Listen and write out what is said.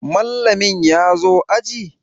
Mallamin ya zo aji?